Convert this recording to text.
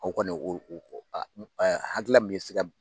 O kɔni hakilila min ye se ka